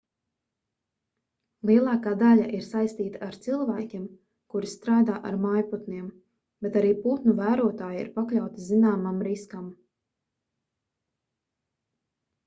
lielākā daļa ir saistīta ar cilvēkiem kuri strādā ar mājputniem bet arī putnu vērotāji ir pakļauti zināmam riskam